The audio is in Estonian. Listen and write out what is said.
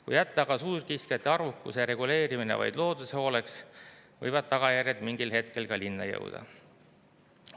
Kui jätta aga suurkiskjate arvukuse reguleerimine vaid looduse hooleks, võivad tagajärjed mingil hetkel ka linna jõuda.